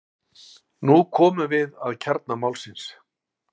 Nú komum við að kjarna málsins.